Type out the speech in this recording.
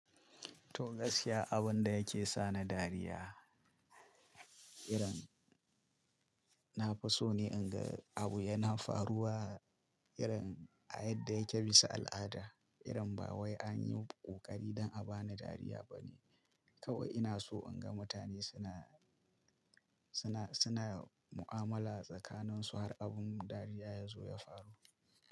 Toh gaskiya abun da yake sa ni dariya, irin na fi so ne in ga abu yana faruwa irin a yadda yake bisa al'ada, irin ba wai an yi kokari don a bani dariya ba ne. Kawai ina so in ga mutane suna, suna, suna mu'amala tsakanin su har abun dariya ya zo ya faru.